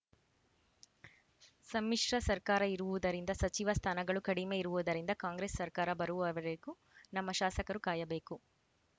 ಸಮ್ಮಿಶ್ರ ಸರ್ಕಾರ ಇರುವುದರಿಂದ ಸಚಿವ ಸ್ಥಾನಗಳು ಕಡಿಮೆ ಇರುವುದರಿಂದ ಕಾಂಗ್ರೆಸ್‌ ಸರ್ಕಾರ ಬರುವವರೆಗೂ ನಮ್ಮ ಶಾಸಕರು ಕಾಯಬೇಕು